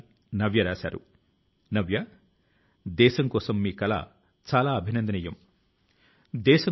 సహచరులారా సాధారణ స్థాయి నుంచి అసాధారణం గా మారడానికి ఆయన ఇచ్చిన మంత్రం కూడా అంతే ముఖ్యమైంది